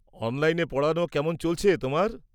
-অনলাইনে পড়ানো কেমন চলছে তোমার?